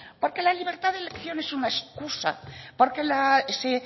porque la libertad de elección es una excusa porque